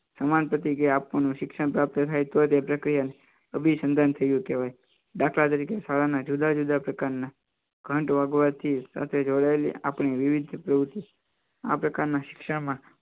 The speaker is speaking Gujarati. સમાન પતી ગઈ આપવાનું શિક્ષણ પ્રાપ્ત થાય તો તે પ્રક્રિયાને અભિનંદન થયું કહેવાય દાખલા તરીકે શાળાના જુદા જુદા પ્રકારના ઘંટ વાગવાથી સાથે જોડાયેલી આપણી વિવિધ પ્રવૃત્તિ આ પ્રકારના શિક્ષામાં